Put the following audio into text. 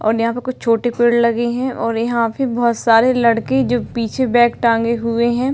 और यहाँ पे कुछ छोटे पेड़ लगे हुए हैं और यहाँ पे बोहोत सारे लड़के जो पीछे बेग टांगे हुवे हैं।